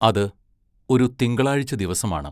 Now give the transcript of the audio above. അത് ഒരു തിങ്കളാഴ്ച ദിവസമാണ്.